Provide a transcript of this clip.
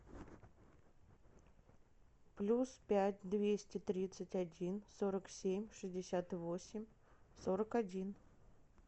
плюс пять двести тридцать один сорок семь шестьдесят восемь сорок один